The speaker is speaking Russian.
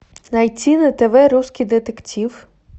найти на тв русский детектив